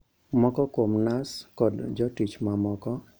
Moko kuom nas kod jotich mamoko